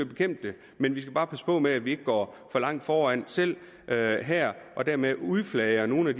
bekæmpe det men vi skal bare passe på med at vi ikke går for langt foran selv her her og dermed udflager nogle af